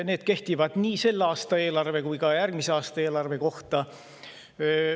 Need kehtivad nii selle aasta eelarve kui ka järgmise aasta eelarve kohta.